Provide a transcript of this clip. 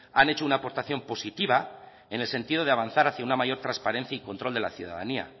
han hecho una aportación positiva en el sentido de avanzar hacia una mayor transparencia y control de la ciudadanía